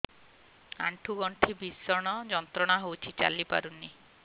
ଆଣ୍ଠୁ ଗଣ୍ଠି ଭିଷଣ ଯନ୍ତ୍ରଣା ହଉଛି ଚାଲି ପାରୁନି